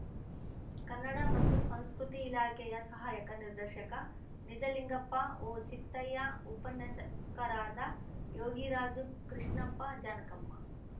ಕನ್ನಡ ಮತ್ತು ಸಂಸ್ಕೃತಿ ಇಲಾಖೆಯ ಸಹಾಯಕ ನಿರ್ದೇಶಕ ನಿಜಲಿಂಗಪ್ಪ ಓಚಿತ್ತಯ್ಯ ಉಪನ್ಯಾಸಕರಾದ ಯೋಗಿರಾಜು ಕೃಷ್ಣಪ್ಪ ಜಾನಕಮ್ಮ